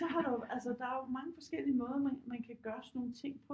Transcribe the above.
Så har der jo altså der er mange forskellige måder man kan gøre sådan nogle ting på